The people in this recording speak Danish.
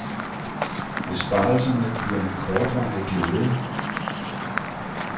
Besparelserne bliver en kortvarig glæde.